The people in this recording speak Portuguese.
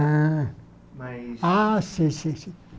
Ah Mas Ah, sim, sim, sim.